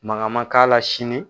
Manga man k'a la sini.